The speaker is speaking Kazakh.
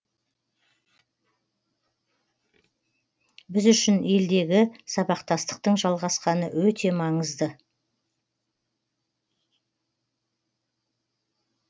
біз үшін елдегі сабақтастықтың жалғасқаны өте маңызды